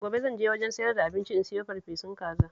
Gobe zan je wajen sayar da abinci in sayo farfesan kaza